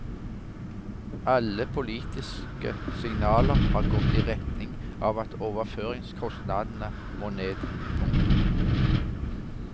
Alle politiske signaler har gått i retning av at overføringskostnadene må ned. punktum